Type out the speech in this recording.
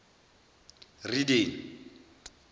rideni